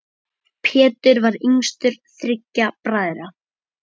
Pétur var yngstur þriggja bræðra.